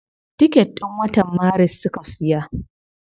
Ticket din watan maris suka siya.